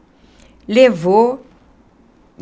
Levou.